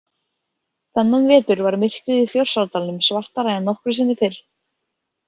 Þennan vetur var myrkrið í Þórsárdalnum svartara en nokkru sinni fyrr.